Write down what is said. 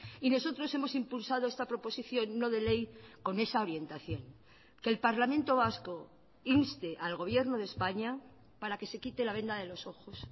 y nosotros hemos impulsado esta proposición no de ley con esa orientación que el parlamento vasco inste al gobierno de españa para que se quite la venda de los ojos